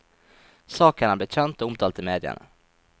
Saken er blitt kjent, og omtalt i mediene.